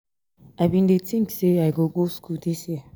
i bin dey think say i go go school dis year.